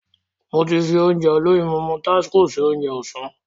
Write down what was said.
Mo ti fi Ounjẹ olóyinmọmọ tásíko se Ounjẹ ọ̀sán